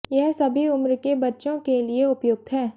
यह सभी उम्र के बच्चों के लिए उपयुक्त है